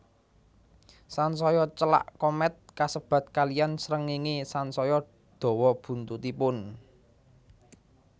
Sansaya celak komèt kasebat kaliyan srengéngé sansaya dawa buntutipun